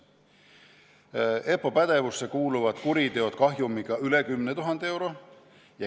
EPPO pädevusse kuuluvad kuriteod kahjuga üle 10 000 euro.